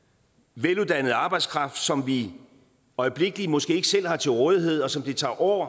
veluddannet arbejdskraft som vi i øjeblikket måske ikke selv har til rådighed og som det tager år